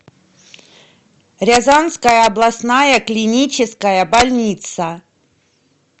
рязанская областная клиническая больница